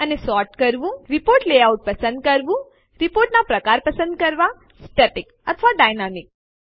અને રીપોર્ટનો પ્રકાર પસંદ કરવો સ્ટેટિક અથવા ડાયનામિક